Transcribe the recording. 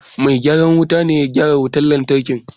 Mai gyaran wuta na gyara wutar lantarki.